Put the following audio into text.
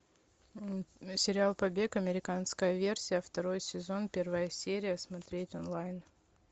сериал побег американская версия второй сезон первая серия смотреть онлайн